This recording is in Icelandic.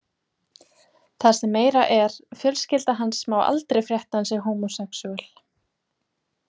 Það sem meira er, fjölskylda hans má aldrei frétta að hann sé homosexual.